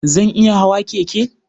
Zan iya hawa keke?